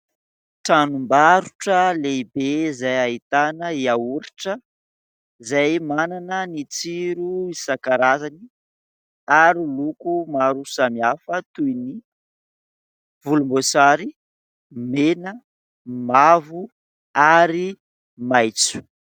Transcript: Tranom-barotra lehibe, izay ahitana hiahoritra izay manana ny tsiro isan-karazany ary loko maro samihafa toy : ny volombosary, mena, mavo ary maitso.